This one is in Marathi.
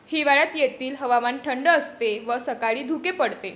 हिवाळ्यात येथील हवामान थंड असते व सकाळी धुके पडते.